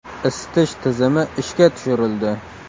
Isitish tizimi ishga tushirildi.